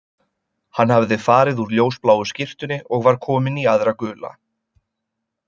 Hann hafði farið úr ljósbláu skyrtunni og var kominn í aðra gula